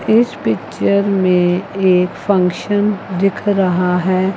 इस पिक्चर में एक फंक्शन दिख रहा है।